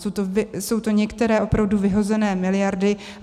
Jsou to některé opravdu vyhozené miliardy.